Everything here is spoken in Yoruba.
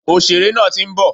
Òsèré nàà ti ń bọ̀